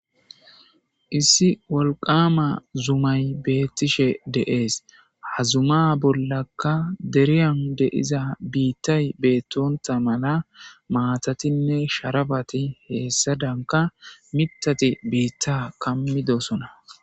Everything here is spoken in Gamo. Issi walqama zumay beettishe deees, ha zuma bollaka deriyan deiza biittay beettonta mala maatatinne sharaPati heessa danka mithati biitta kammi dosona.